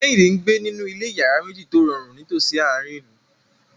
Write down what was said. Kehinde ń gbé nínú ilé ìyàrá méjì tó rọrùn nítòsí àárín ìlú.